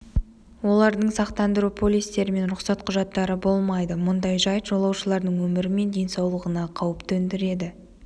олардың сақтандыру полистері мен рұқсат құжаттары болмайды мұндай жайт жолаушылардың өмірі мен денсаулығына қауіп төндіреді